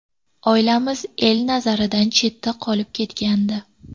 Oilamiz el nazaridan chetda qolib ketgandi.